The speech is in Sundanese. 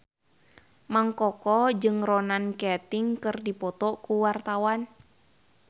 Mang Koko jeung Ronan Keating keur dipoto ku wartawan